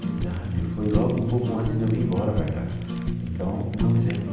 A idade foi logo um pouco antes de eu vir embora para cá, então não me lembro.